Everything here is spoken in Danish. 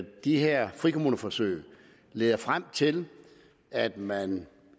de her frikommuneforsøg leder frem til at man